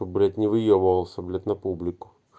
блять не выебывался блять на публику